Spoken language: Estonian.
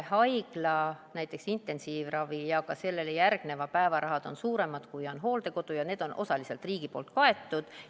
Haigla intensiivravi ja ka sellele järgneva ravi päevarahad on suuremad, kui on hooldekodul ja need on osaliselt riigi poolt kaetud.